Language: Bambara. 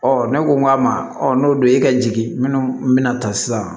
ne ko n k'a ma n'o don e ka jigi minnu mi na ta sisan